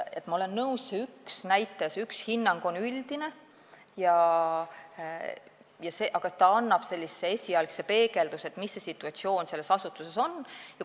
Ma olen nõus, see üks hinnang on üldine, aga ta annab esialgse peegelduse, mis situatsioon selles asutuses on.